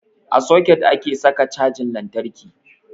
A soket ake saka cajan lantarki.